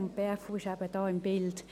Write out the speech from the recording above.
Die BFU ist hier im Bilde.